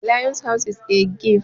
The Lion's house is a cave.